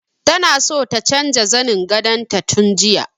Ta so ta canja zanin gadon ta tun jiya.